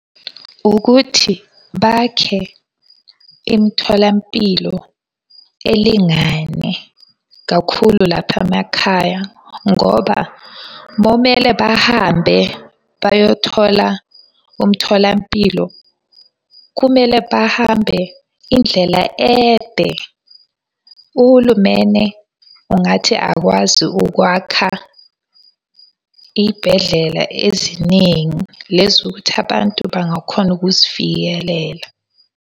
Ukuthi bakhe imitholampilo elingane kakhulu lapha emakhaya ngoba bomele bahambe bayothola umtholampilo, kumele bahambe indlela ende. Uhulumene ungathi akwazi ukwakha iy'bhedlela eziningi, lezi ukuthi abantu bangakhona ukuzifikelela.